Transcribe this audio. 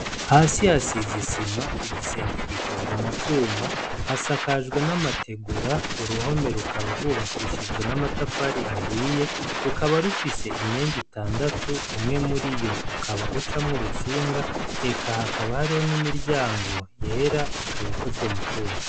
Hasi hasizisima igisenge gikozwe mu vyuma hasakajwe n'amategura uruhome rukaba rwubakishijwe n'amatafari ahiye rukaba rufise imyenga itandatu umwe muri yo ukaba ucamwo urutsinga eka hakabahro n'imiryango yera ikabikozwe mu cuma.